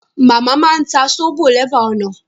Màmá máa ń ta sóbò lẹ́bàá ọ̀nà